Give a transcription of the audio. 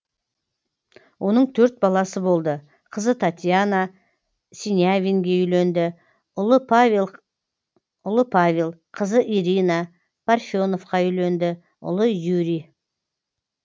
оның төрт баласы болды қызы татьяна сенявинге үйленді ұлы павел қызы ирина парфеновқа үйленді ұлы юрий